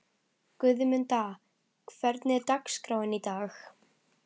Guðmunda, hvernig er dagskráin í dag?